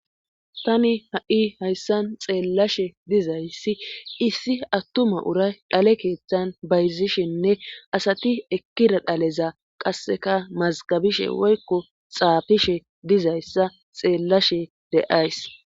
Tani ha'i hayssan xeelashe dizayssi issi atuma uray dhale keeththan bayzishenne asati ekkida dhale qassekka mazgggabishe woykko xaafishe dizayssa xeelashe de'aysss.